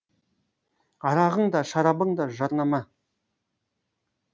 арағың да шарабың да жарнама